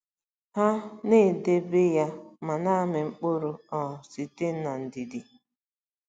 Ha “na-edobe ya ma na-amị mkpụrụ um site n’ndidi.”